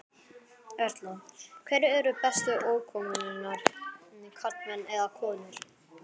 Erla: Hverjir eru bestu ökumennirnir, karlmenn eða konur?